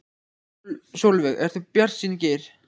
Sólveig: Ertu bjartsýnn Geir?